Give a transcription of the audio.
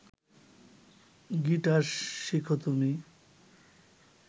guitar শিখ তুমি